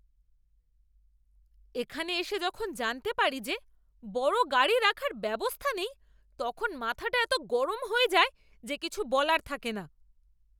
এখানে এসে যখন জানতে পারি যে বড় গাড়ি রাখার ব্যবস্থা নেই তখন মাথাটা এতো গরম হয়ে যায় যে কিছু বলার থাকে না!